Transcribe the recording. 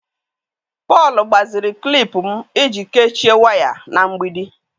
Paul gbaziri klip m iji kechie waya na mgbidi.